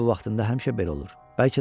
Bəlkə günün bu vaxtında həmişə belə olur.